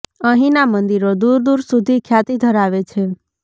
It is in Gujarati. અહીંના મંદિરો દૂર દૂર સુધી ખ્યાતિ ધરાવે છે